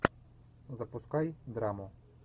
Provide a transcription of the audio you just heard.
запускай драму